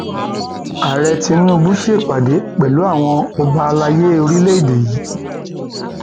ààrẹ tinubu ṣèpàdé pẹlú àwọn ọba àlàyé orílẹèdè yìí orílẹèdè yìí